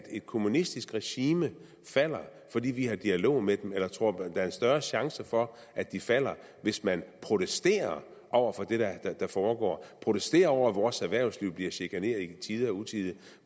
et kommunistisk regime falder fordi vi har en dialog med dem eller tror man der er større chance for at de falder hvis man protesterer over for det der foregår protesterer over at vores erhvervsliv bliver chikaneret i tide og utide